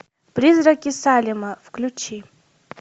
призраки салема включи